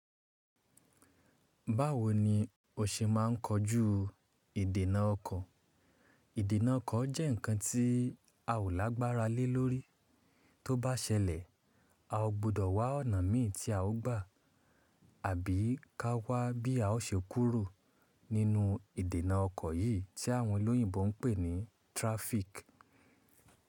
Báwo ni o ṣe máa ń kojú ìdènà ọkọ̀? Ìdènà ọkọ̀ jẹ́ ǹkan tí a ò lágbára lé lórí. Tó bá ṣẹlẹ̀, a ò gbọdọ̀ wá ọ̀nà mí tí a ó gbà àbí ká wá bí a ó ṣe kúrò nínú ìdènà ọkọ̀ yìí tí àwọn olóyìnbo ń pè ní traffic.